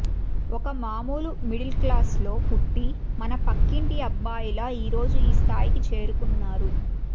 ఒక మామూలు మిడిల్క్లాస్లో పుట్టి మన పక్కింటి అబ్బాయిలా ఈరోజు ఈ స్థాయికి చేరుకున్నారు